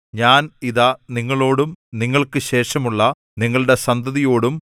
ഞാൻ ഇതാ നിങ്ങളോടും നിങ്ങൾക്കുശേഷമുള്ള നിങ്ങളുടെ സന്തതിയോടും